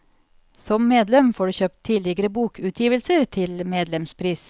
Som medlem får du kjøpt tidligere bokutgivelser til medlemspris.